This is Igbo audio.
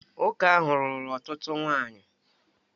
Nwoke ahụ lụrụ ọtụtụ nwanyị